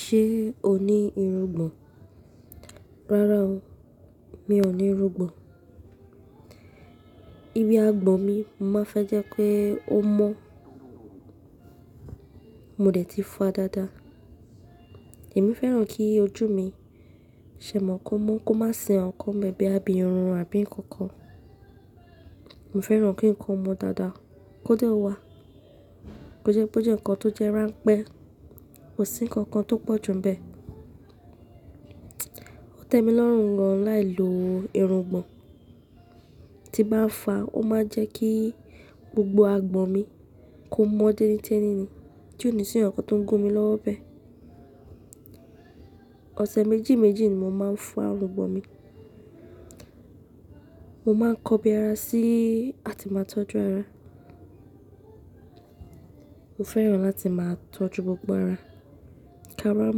Ṣé o ní irungbọ̀n? Rárá o, mi ò ní irungbọ̀n. Ibi agbọ̀n mi, mo máa ń fẹ́ jẹ́ pé ó mọ́. Mo dẹ̀ ti fa dáadáa. Èmi fẹ́ràn kí ojú mi ṣẹmọ kó mọ́ kó má sì ǹkankan ń bẹ̀ bóyà bí irun àbí ǹkankan. Mo fẹ́ràn kí ǹkan mọ́ dáadáa, kó dé wá, kó jẹ́ pé ó jẹ́ ǹkan tó jẹ́ ránpẹ́, kò sí ǹkankan tó pọ̀ ju ń bẹ́ẹ̀. Ó tẹ mi lọ́rùn gan láì lo irungbọ̀n. Tí bá ń fa, ó máa ń jẹ́ kí gbogbo agbọ̀n mi kó mọ́ tẹ́nitẹ́ni ni, tí ò ní sì ǹkan tó ń gún mi lọ́wọ́ ń bẹ́ẹ̀. Ọ̀sẹ̀ méjì méjì ni mo máa ń fa irungbọ̀n mi. Mo máa ń kọbi ara sí, àti máa tọ́jú ara. Mo fẹ́ràn láti máa tọ́jú gbogbo ara, kí a ára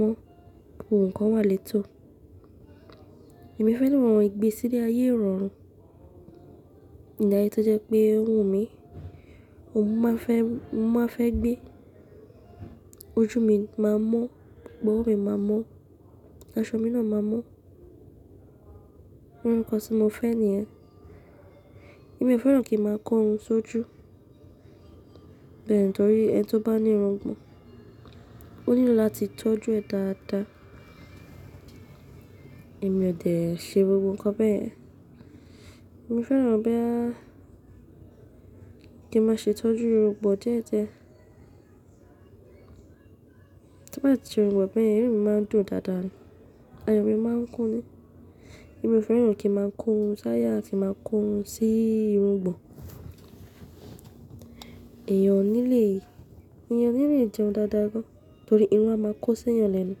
mọ́ kí gbogbo ǹkan wà létò. Èmi fẹ́ràn ohun ìgbésíde ayé ìrọ̀rùn. Ilé ayé tó jẹ́ pé ó wu mi, òun mo máa fẹ́, mo máa fẹ́ gbé. Ojú mi máa mọ́, gbogbo ọwọ́ mi máa mọ́, aṣọ mi náà máa mọ́. Òun kan tí mo fẹ́ ni yẹn. Èmi ò fẹ́ràn kí ń máa kọ́ irun sójú. Bẹ́ẹ̀ ni torí ẹni tó bá ní irungbọ̀n, ó nílò láti tọ́jú ẹ dáadáa. Èmi ò dẹ̀ ṣe gbogbo ǹkan bẹ́ẹ̀. Èmi fẹ́ràn bóyá kí n má ṣe tọ́jú irungbọ̀n díẹ̀díẹ̀. Tí bá ti ṣe irungbọ̀n bẹ́ yẹn, inú mi máa ń dùn dáadáa ni, ayọ̀ mi máa ń kún ni. Èmi ò fẹ́ràn kí n máa korun sáyà àti máa korun sí irungbọ̀n. Ẹ̀yàn ò ní lè, ẹ̀yàn ò ní lè jẹun dáadáa gan, torí irun a máa kó sí ẹ̀yàn lẹ́nu.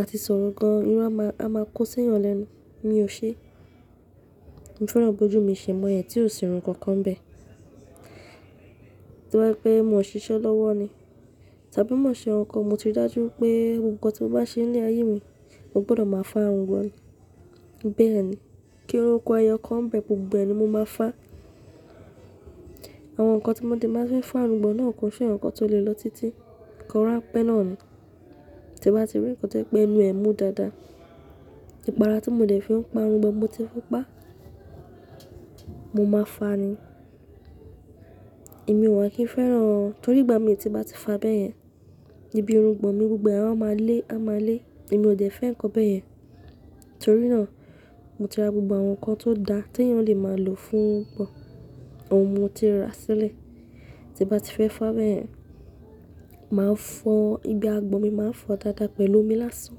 A ti sọ̀rọ̀ gan, irun a máa, a máa kó sí ẹ̀yàn lẹ́nu. Èmi ò ṣe. Mo fẹ́ràn bojú mi ṣe mọ́ yẹn tí ò sírun kankan nbẹ́ẹ̀. Tó bá jẹ́ pé mo ń ṣiṣẹ́ lọ́wọ́ ni. Tí a bá mọ ń ṣẹ̀ ǹkankan, mo ti rí dájú pé ohun kan tí mo bá ṣe ní ayé mi, mo gbọ́dọ̀ máa fá irungbọ̀n. Bẹ́ẹ̀ ni. Kí irun ku ẹ̀yọ̀ kan nbẹ́ẹ̀ gbogbo ẹ nì mo máa fá. Àwọn ǹkan tí mo dẹ̀ máa fi fa irungbọ̀n náà kò ṣe ǹkan tó le lọ títí. Ǹkan rànpẹ́ náà ni. Tí bá ti rí ǹkan tó jẹ́pẹ́ ẹnu ẹ mu dáadáa. Ìpara tí mo dẹ̀ fi ń pa irungbọ̀n mo ti fi pa. Mo máa fà ni. Èmi ò wà kì í fẹ́ràn, torí ìgbà mi tí bá ti fa bẹ́ẹ̀ yẹn, ibi irungbọ̀n mi gbogbo ẹ a wá máa lé, a máa lé. Èmi ò dẹ̀ fẹ́ ǹkan bẹ́ẹ̀. Torí náà, mo ti ra gbogbo àwọn ǹkan tó da tí ẹ̀yàn lè máa lò fún irungbọ̀n. Òhun mo ti ra sílẹ̀. Tí bá ti fẹ́ fà bẹ́ẹ̀ yẹn, màá fọ́ ibi agbọ̀n mi, màá fọ́ ọ dáadáa pẹ̀lú omi lásán.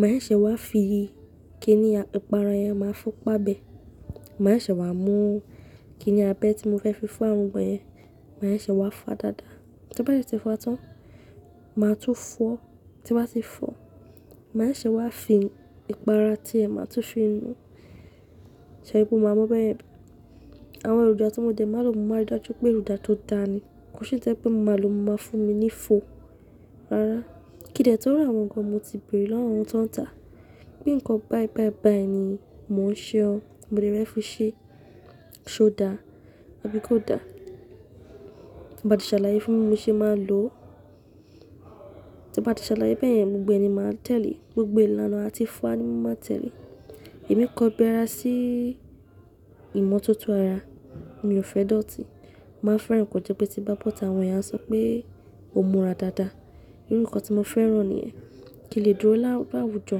Màá ṣẹ̀ wá fi, kí ni ìpara yẹn màá fi pa bẹ́ẹ̀. Màá ṣẹ̀ wá mú kí ni abẹ́ tí mo fẹ́ fi fa irungbọ̀n yẹn. Màá ṣẹ̀ wá fà dáadáa. Tí n bá ti ṣe fà tán, màá tún fọ́. Tí nbá ti fọ́, màá ṣẹ̀ wá fi ìpara tí ẹ, màá tún fi nu. Ṣẹ̀ rí pé o máa mọ̀ bẹ́ yẹn. Àwọn èròjà tí mo dẹ̀ máa lò mo, màá rí dájú pé èròjà tó da ni. Kò ṣe yì tó jẹ́ pé mo máa lò o máa fún mi ní fo. Rárá. Kí n dé tó ra àwọn ǹkan mo ti bèrè lọ́wọ́ àwọn tán ń tà. Pé ǹkan báì báì báì ni mò ń ṣe ọ́. Mo dé fẹ́ fi ṣe? Ṣé ó da? Àbí kó da. Tán bá ti ṣàlàyé fún mi bí n ṣe máa lò. Tán bá ti ṣàlàyé bẹ́ẹ̀ yẹn gbogbo ẹ nì màá tẹ̀lé. Gbogbo ìlànà a tí fa ni mo máa tẹ̀lé. Èmi kọ́ bí ara sí ìmọ́tótó ara. Èmi ò fẹ́ dọ̀tí. Mò máa ń fẹ́ràn kó jẹ́ pé tí n bá bọ́tà àwọn èèyàn sọ pé o múra dáadáa. Irú ǹkan tí mo fẹ́ràn ni yẹn. Kí n lè dúró lá làwùjọ.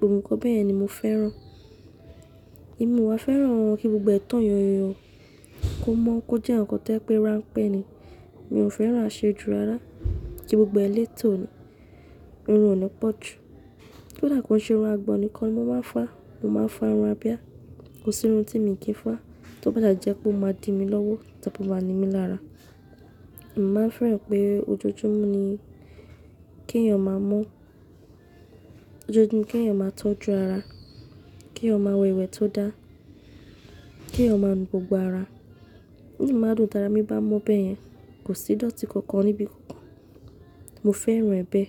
Òun nìkan bẹ́ẹ̀ ni mo fẹ́ràn. Èmi ò wà fẹ́ràn kí gbogbo ẹ tán yànyàn yàn kó mọ́ kó jẹ́ ǹkan tó jẹ́ pé rànpẹ́ ni. Mi ò fẹ́ràn àṣejù rárá. Kí gbogbo ẹ létò ni. Irun ò ní pọ̀jù. Kódà kó n ṣe irun agbọ̀n nìkan ni mo máa ń fà. Mo máa ń fà irun abìá. Kò sí irun tí mi kì í fà. Tó bá sà ti jẹ́ pé o máa di mi lọ́wọ́, tàbí o máa ni mí lára. Mo máa ń fẹ́ràn pé ojoojúmọ́ ni kí ẹ̀yàn máa mọ́. Ojoojúmọ́ ni kí ẹ̀yàn máa tọ́jú ara. Kí ẹ̀yàn máa wẹ ìwẹ̀ tó dá. Kí ẹ̀yàn máa nu gbogbo ara. Inú mi máa ń dùn tara mi bá mọ̀ bẹ́ẹ̀ yẹn kò sí dọ̀tí kankan níbi kankan. Mo fẹ́ràn ẹ bẹ́ẹ̀.